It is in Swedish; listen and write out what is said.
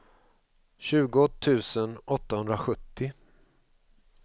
tjugo tusen åttahundrasjuttio